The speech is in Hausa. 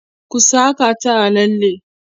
ku Saka ta a lalle!